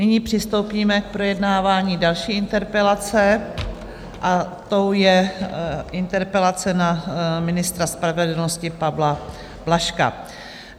Nyní přistoupíme k projednávání další interpelace a tou je interpelace na ministra spravedlnosti Pavla Blažka.